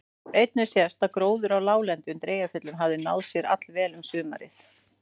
Einnig sést að gróður á láglendi undir Eyjafjöllum hafði náð sér allvel um sumarið.